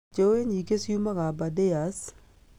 Njũũĩ nyingĩ ciumaga Abardares